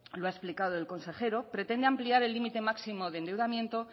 lo ha explicado el consejero pretende ampliar el límite máximo de endeudamiento